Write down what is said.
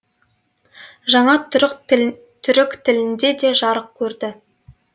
жаңа түрік тілінде де жарық көрді